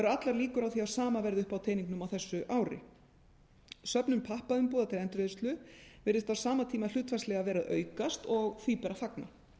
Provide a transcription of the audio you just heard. allar líkur á því að sama verði uppi á teningnum á þessu ári söfnun pappaumbúða til endurvinnslu virðist á sama tíma hlutfallslega vera að aukast og því ber að fagna